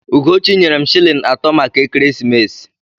Ugochi nyere m shịlịn atọ maka ekeresimesi.